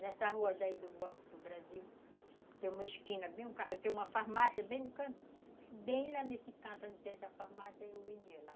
Nessa rua do Banco do Brasil, tem uma esquina bem no canto, tem uma farmácia bem no canto, bem lá nesse canto onde tem essa farmácia, eu vendia lá.